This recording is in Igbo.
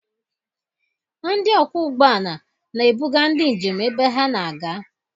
Ndị ọkwọ ụgbọala na-ebuga ndi njem ebe ha na-aga.